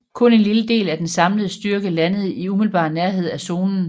Kun en lille del af den samlede styrke landede i umiddelbar nærhed af zonen